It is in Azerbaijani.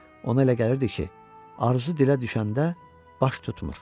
Ona elə gəlirdi ki, arzu dilə düşəndə baş tutmur.